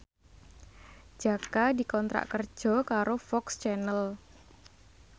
Jaka dikontrak kerja karo FOX Channel